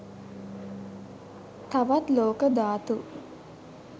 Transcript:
තවත් ලෝක ධාතු